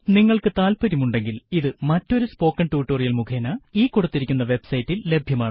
നിങ്ങൾക്കു താല്പര്യം ഉണ്ടെങ്കിൽ ഇത് മറ്റൊരു സ്പോക്കെൻ ടുട്ടോറിയൽ മുഖേന ഈ കൊടുത്തിരിക്കുന്ന വെബ് സൈറ്റിൽ ലഭ്യമാണ്